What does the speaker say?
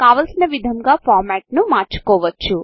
కావలసిన విధంగా ఫార్మాట్కోడ్ను మార్చుకోవచ్చు